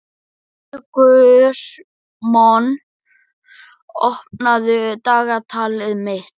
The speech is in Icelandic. Sigurmon, opnaðu dagatalið mitt.